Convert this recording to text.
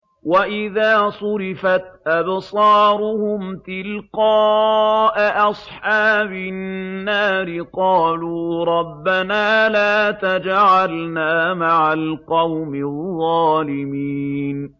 ۞ وَإِذَا صُرِفَتْ أَبْصَارُهُمْ تِلْقَاءَ أَصْحَابِ النَّارِ قَالُوا رَبَّنَا لَا تَجْعَلْنَا مَعَ الْقَوْمِ الظَّالِمِينَ